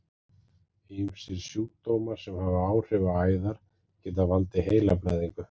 Ýmsir sjúkdómar sem hafa áhrif á æðar geta valdið heilablæðingu.